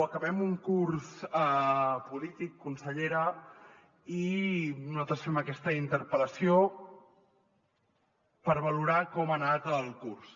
acabem un curs polític consellera i nosaltres fem aquesta interpel·lació per valorar com ha anat el curs